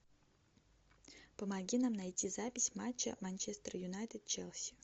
помоги нам найти запись матча манчестер юнайтед челси